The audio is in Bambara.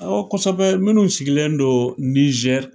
kosɛbɛ minnu sigilen don